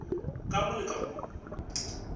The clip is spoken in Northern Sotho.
ka mo le ka mo